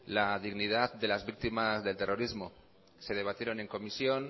la dignidad de las víctimas del terrorismo se debatieron en comisión